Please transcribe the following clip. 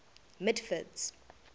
mitford's